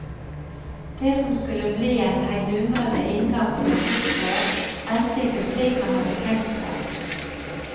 Det som skulle bli en heidundrende inngang til et nytt år, endte ikke slik han hadde tenkt seg.